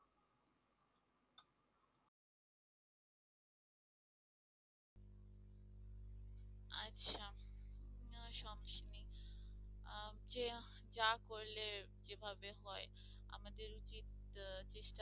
যা করলে যেভাবে হয় আমাদের কি চেষ্টা